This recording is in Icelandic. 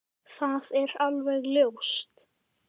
Það er alveg ljóst.